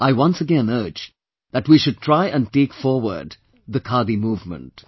I once again urge that we should try and take forward the Khadi movement